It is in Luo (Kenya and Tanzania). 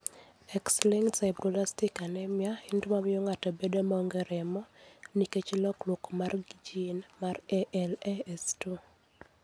X-linked sideroblastic anemia en tuwo mamiyo del bedo maonge remo nikech lokruok mar gene mar ALAS2.